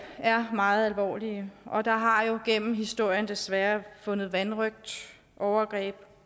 er meget alvorlige og der har jo gennem historien desværre fundet vanrøgt overgreb